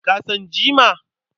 Ka san jima?